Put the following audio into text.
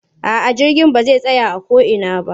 A'a jirgin ba zai tsaya a ko ina ba.